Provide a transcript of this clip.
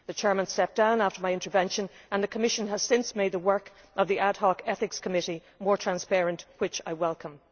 The chair stepped down after my intervention, and the Commission has since made the work of the Ad Hoc Ethics Committee more transparent, which I welcome.